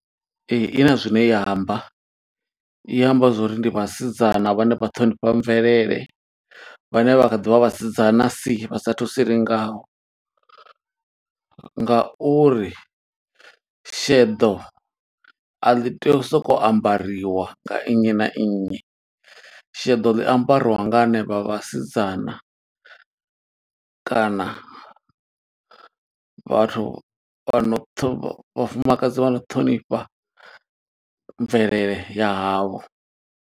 Ee, i na zwine ya amba, i amba zwo uri ndi vhasidzana vhane vha ṱhonifha mvelele, vhane vha kha ḓi vha vhasidzana si vha sathu silingaho. Ngauri sheḓo a ḽi tei u soko ambariwa nga nnyi na nnyi, sheḓo ḽi ambariwa nga hanevha vhasidzana, kana vhathu vhano vhafumakadzi vha no ṱhonifha mvelele ya havho.